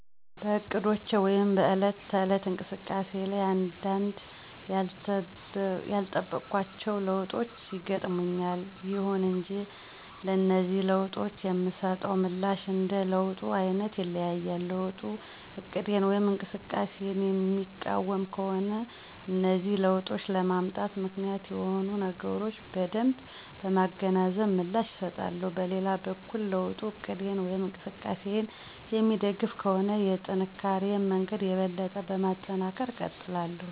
በእቅዶቼ ወይም በዕለት ተዕለት እንቅስቃሴ ላይ አንዳንድ ያልጠበኳቸው ለውጦች ይገጥሙኛል። ይሁን እንጂ ለነዚህ ለውጦች የምሰጠው ምላሽ እንደ ለውጡ አይነት ይለያያል። ለውጡ እቅዴን ወይም እንቅስቃሴየን የሚቃወም ከሆነ እነዚህ ለውጦች ለመምጣት ምክንያት የሆኑትን ነገሮች በደንብ በማገናዘብ ምላሽ እሰጣለሁ። በሌላ በኩል ለውጡ እቅዴን ወይም እንቅስቃሴየን የሚደግፍ ከሆነ የጥንካሪየን መንገድ የበለጠ በማጠናከር እቀጥላለሁ።